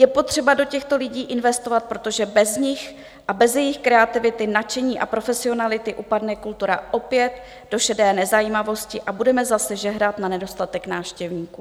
Je potřeba do těchto lidí investovat, protože bez nich a bez jejich kreativity, nadšení a profesionality upadne kultura opět do šedé nezajímavosti a budeme zase žehrat na nedostatek návštěvníků.